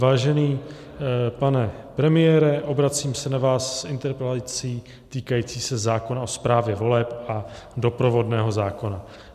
Vážený pane premiére, obracím se na vás s interpelací týkající se zákona o správě voleb a doprovodného zákona.